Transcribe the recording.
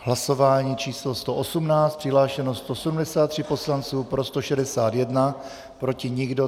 Hlasování číslo 118, přihlášeno 173 poslanců, pro 161, proti nikdo.